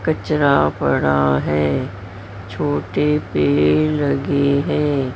कचरा पड़ा है छोटे पे लगी है।